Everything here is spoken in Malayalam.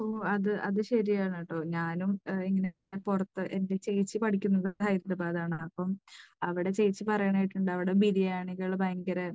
ഇപ്പോൾ അത് ശരിയാണ് കേട്ടോ ഞാനും, പുറത്ത് എൻറെ ചേച്ചി പഠിക്കുന്നത് ഹൈദരാബാദ് ആണ്. അപ്പോൾ അവിടെ ചേച്ചി പറയുന്നത് കേട്ടിട്ടുണ്ട്, അവിടെ ബിരിയാണികൾ ഭയങ്കര